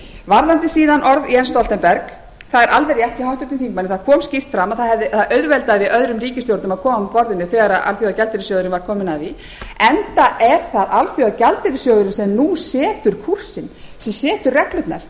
varðandi síðan orð jens stoltenberg það er alveg rétt hjá háttvirtum þingmanni það kom skýrt fram að það auðveldaði öðrum ríkisstjórnum að koma að borðinu þegar alþjóðagjaldeyrissjóðurinn var kominn að því enda er það alþjóðagjaldeyrissjóðurinn sem nú setur kúrsinn sem setur reglurnar